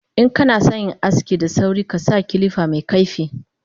Inkanasan yin aski da sauri kasa kilifa mekaifi